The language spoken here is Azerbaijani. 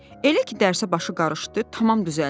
Elə ki dərsə başı qarışdı, tamam düzəldi.